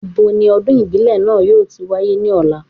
Ibo ni ọdún ìbílẹ̀ náà yóò ti wáyé ní ọ̀la?